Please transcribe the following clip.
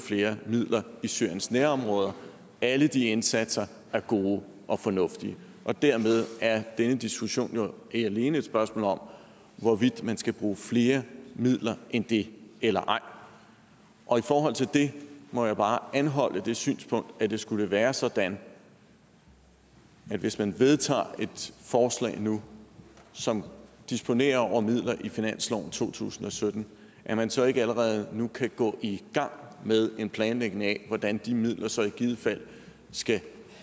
flere midler i syriens nærområder og alle de indsatser er gode og fornuftige og dermed er denne diskussion jo alene et spørgsmål om hvorvidt man skal bruge flere midler end det eller ej og i forhold til det må jeg bare anholde det synspunkt at det skulle være sådan hvis man vedtager et forslag nu som disponerer over midler i finansloven to tusind og sytten at man så ikke allerede nu kan gå i gang med en planlægning af hvordan de midler så i givet fald skal